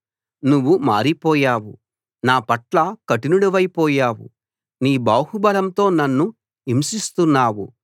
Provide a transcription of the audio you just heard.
నువ్వు మారిపోయావు నా పట్ల కఠినుడివైపోయావు నీ బాహుబలంతో నన్ను హింసిస్తున్నావు